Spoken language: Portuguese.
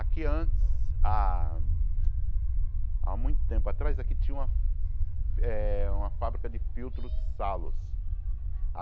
Aqui antes, há há muito tempo atrás, aqui tinha eh uma fábrica de filtros Salos.